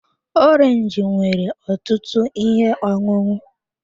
Orange nwere ọtụtụ ihe ọṅụṅụ.